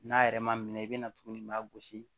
N'a yɛrɛ ma minɛ i bɛna tuguni i b'a gosi